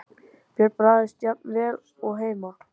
Björn: Bragðast hann jafn vel og heima?